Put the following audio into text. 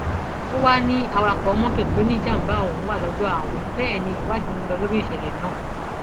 ó wàá ní awakọ mọtò tó níjàmbá ọhún wà lọdọ àwọn bẹẹ ni ìwádìí ń lò lórí ìṣẹlẹ náà